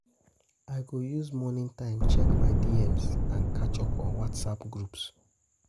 I go use morning time check my DMs and catch up on WhatsApp groups.